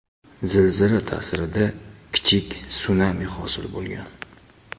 Zilzila ta’sirida kichik sunami hosil bo‘lgan.